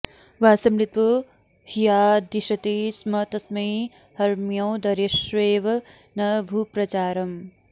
वासं नृपो ह्यादिशति स्म तस्मै हर्म्योदरेष्वेव न भूप्रचारम्